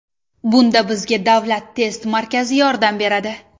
Bunda bizga Davlat test markazi yordam beradi.